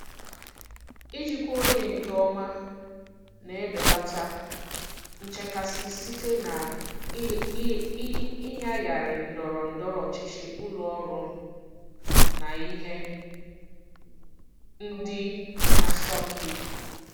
Ijikwa oge nke ọma na-ebelata nchekasị site na ịnyagharị ndọrọ ndọrọ ọchịchị ụlọ ọrụ na ihe ndị na-asọmpi.